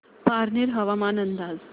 पारनेर हवामान अंदाज